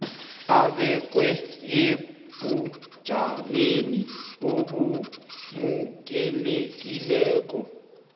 abekwe ebujameni obamukelekako